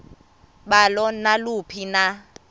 balo naluphi na